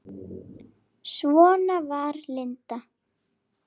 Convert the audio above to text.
Svona var Linda.